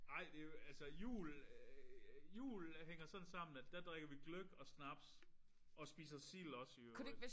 Ej det jo altså jul jul hænger sådan sammen at der drikker vi gløgg og snaps og spiser sild også i øvrigt